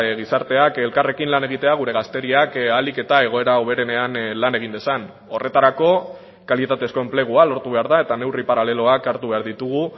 gizarteak elkarrekin lan egitea gure gazteriak ahalik eta egoera hoberenean lan egin dezan horretarako kalitatezko enplegua lortu behar da eta neurri paraleloak hartu behar ditugu